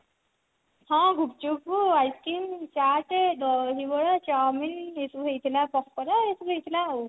ହଁ gupchup ice-cream chaat dahibara chow mein ଏସବୁ ହେଇଥିଲା ପକୋଡା ଏସବୁ ହେଇଥିଲା ଆଉ